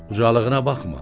Ucalığına baxma.